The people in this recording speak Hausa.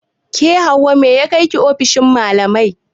Ke Hauwa mai ya kaiki ofishin malamai?